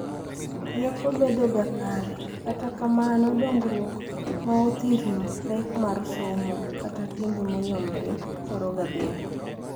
Rieko bedoga kare, kata kamano dongruok maothirno, pek mar somo, kata timbe moyombre thoroga bedo.